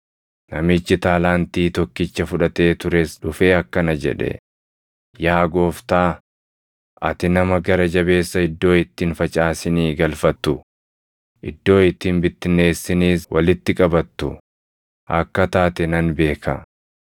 “Namichi taalaantii tokkicha fudhatee tures dhufee akkana jedhe; ‘Yaa gooftaa, ati nama gara jabeessa iddoo itti hin facaasinii galfattu, iddoo itti hin bittinneessiniis walitti qabattu akka taate nan beeka.